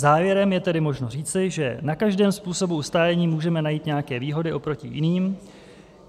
Závěrem je tedy možno říci, že na každém způsobu ustájení můžeme najít nějaké výhody oproti jiným.